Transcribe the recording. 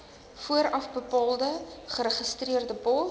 voorafbetaalde geregistreerde pos